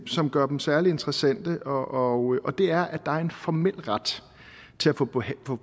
som gør dem særlig interessante og det er at der er en formel ret til at få